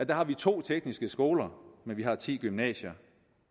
der har vi to tekniske skoler men vi har ti gymnasier